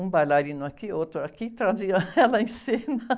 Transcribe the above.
Um bailarino aqui, outro aqui, traziam ela em cena.